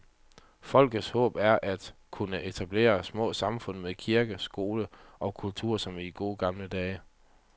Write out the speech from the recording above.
Folkets håb er, at kunne etablere små samfund med kirke, skole og kultur som i de gode gamle dage.